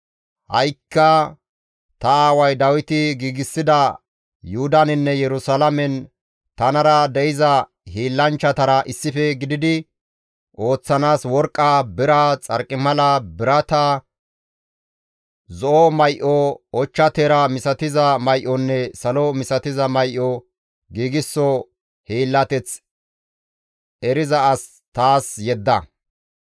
«Ha7ikka ta aaway Dawiti giigsida Yuhudaninne Yerusalaamen tanara de7iza hiillanchchatara issife gididi ooththanaas worqqa, bira, Xarqimala, birata, zo7o may7o, ochcha teera misatiza may7onne salo misatiza may7o giigso hiillateth eriza as taas yedda.